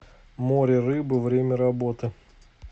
море рыбы время работы